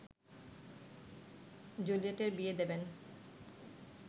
জুলিয়েটের বিয়ে দেবেন